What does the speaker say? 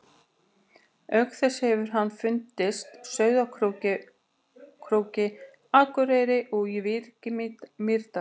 Auk þess hefur hann fundist Sauðárkróki, Akureyri og í Vík í Mýrdal.